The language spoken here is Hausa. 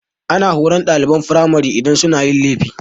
Ana horan ɗaliban firamari idan sun yi laifi.